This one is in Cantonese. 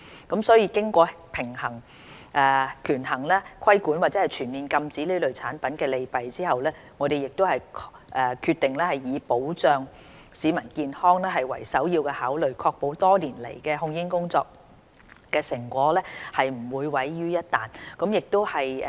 經權衡規管或全面禁止這類產品的利弊後，我們決定以保障市民健康為首要考慮，確保多年來控煙工作的成果不會毀於一旦。